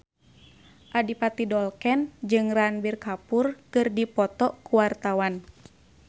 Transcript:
Adipati Dolken jeung Ranbir Kapoor keur dipoto ku wartawan